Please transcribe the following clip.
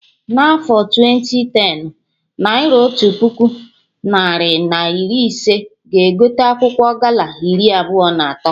Na afọ twenti tenụ, naira Otu puku narị na iri ise ga egote akwụkwọ gala iri abụọ na atọ